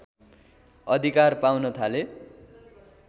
अधिकार पाउन थाले